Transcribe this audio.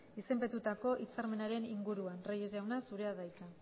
izenpetutako hitzarmenaren inguruan reyes jauna zure da hitza